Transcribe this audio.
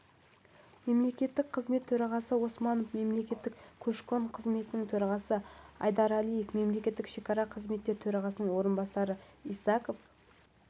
мемлекеттік қызмет төрағасы осмонов мемлекеттік көші-қон қызметінің төрағасы айдаралиев мемлекеттік шекара қызметі төрағасының орынбасары исаков